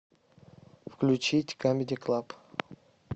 включить камеди клаб